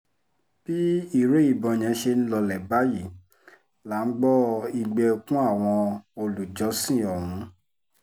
bí ìró ìbọn yẹn ṣe ń lọọlẹ̀ báyìí là ń gbọ́ igbe ẹkún àwọn olùjọ́sìn ọ̀hún